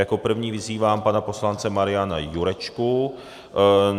Jako první vyzývám pana poslance Mariana Jurečku.